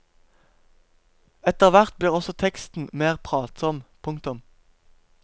Etter hvert blir også teksten mer pratsom. punktum